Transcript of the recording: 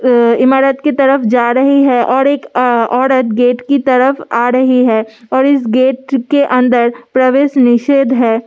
अह इमारत की तरफ़ जा रहे है और एक अ औरत गेट की तरफ़ आ रही है और इस गेट के अंदर प्रवेश निषेद है ।